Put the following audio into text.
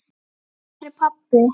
Hvar er pabbi?